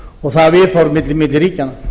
og viðhorf milli ríkjanna